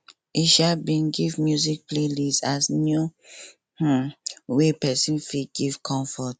e um bin give music playlist as new um way person fit give comfort